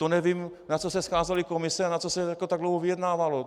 To nevím, na co se scházely komise a na co se tak dlouho vyjednávalo.